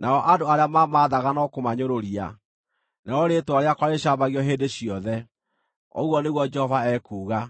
nao andũ arĩa mamaathaga no kũmanyũrũria. Narĩo rĩĩtwa rĩakwa rĩcambagio hĩndĩ ciothe,” ũguo nĩguo Jehova ekuuga.